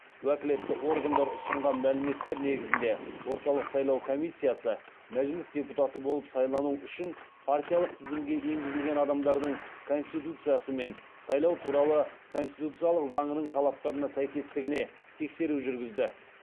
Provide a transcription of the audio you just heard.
уәкілетті органдар ұсынған мәліметтер негізінде орталық сайлау комиссиясы мәжіліс депутаты болып сайлану үшін партиялық тізімге енгізілген адамдардың конституциясы мен сайлау туралы конституциялық заңның талаптарына сәйкестігіне тексеру жүргізді